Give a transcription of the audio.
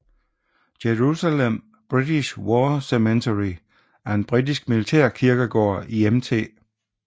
Jerusalem British War Cemetery er en britisk militærkirkegård i Mt